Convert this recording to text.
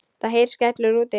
Það heyrist skellur úti.